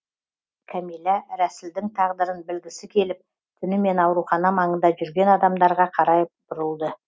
кәмилә рәсілдің тағдырын білгісі келіп түнімен аурухана маңында жүрген адамдарға қарай бұрылды